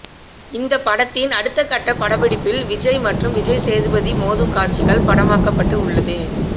இந்த படத்தின் அடுத்தகட்ட படப்பிடிப்பில் விஜய் மற்றும் விஜய்சேதுபதி மோதும் காட்சிகள் படமாக்கப்பட்டு உள்ளது